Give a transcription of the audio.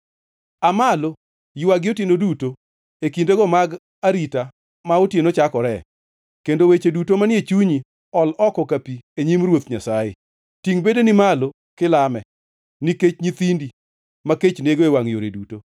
Aa malo, ywagi otieno duto, e kindego mag arita ma otieno chakore, kendo weche duto manie chunyi ol oko ka pi e nyim Ruoth Nyasaye. Tingʼ bedeni malo kilame nikech nyithindi, ma kech nego e wangʼ yore duto.